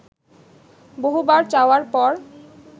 বহুবার চাওয়ার পর